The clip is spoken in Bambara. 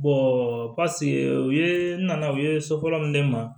u ye n nana u ye so fɔlɔ min ma